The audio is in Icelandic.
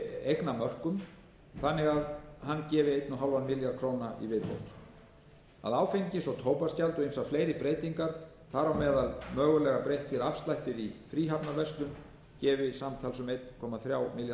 eignamörkum þannig að hann gefi einn komma fimm milljarða króna í viðbót áfengis og tóbaksgjald og ýmsar fleiri breytingar þar á meðal mögulega breyttir afslættir í fríhafnarverslun gefa samtals um einn komma þrjá milljarða